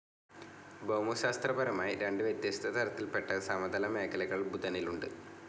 ഭൗമശാസ്ത്രപരമായി രണ്ട് വ്യത്യസ്ത തരത്തിൽപ്പെട്ട സമതല മേഖലകൾ ബുധനിലുണ്ട്.